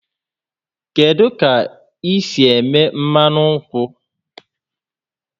Kedu ka esi eme mmanụ nkwụ?